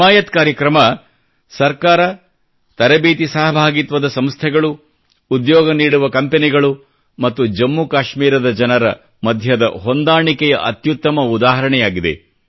ಹಿಮಾಯತ್ ಕಾರ್ಯಕ್ರಮ ಸರ್ಕಾರ ತರಬೇತಿ ಸಹಭಾಗಿತ್ವದ ಸಂಸ್ಥೆಗಳು ಉದ್ಯೋಗ ನೀಡುವ ಕಂಪನಿಗಳು ಮತ್ತು ಜಮ್ಮು ಕಾಶ್ಮೀರದ ಜನರ ಮಧ್ಯದ ಹೊಂದಾಣಿಕೆಯ ಅತ್ಯುತ್ತಮ ಉದಾಹರಣೆಯಾಗಿದೆ